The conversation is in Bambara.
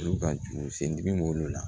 Olu ka juru sen bɛ b'olu la